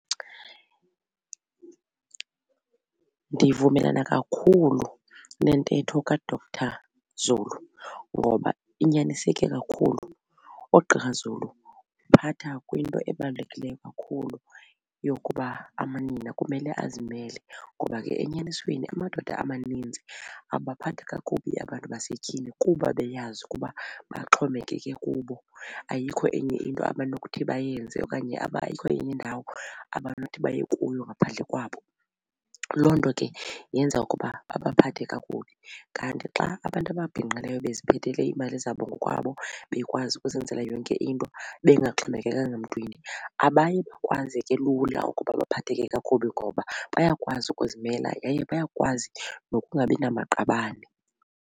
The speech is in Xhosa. Ndivumelana kakhulu nentetho kaDr Zulu ngoba inyaniseke kakhulu. UGqr Zulu uphatha kwinto ebalulekileyo kakhulu yokuba amanina kumele azimele ngoba ke enyanisweni amadoda amaninzi abaphatha kakubi abantu basetyhini kuba beyazi ukuba baxhomekeke kubo ayikho enye into abanokuthi bayenze okanye ayikho enye indawo abanothi baye kuyo ngaphandle kwabo. Loo nto ke yenza ukuba babaphathe kakubi. Kanti xa abantu ababhinqileyo beziphethele iimali zabo ngokwabo bekwazi ukuzenzela yonke into bengaxhomekekanga mntwini abayi kwazeke lula ukuba baphatheke kakubi ngoba bayakwazi ukuzimela yaye bayakwazi nokungabi namaqabane.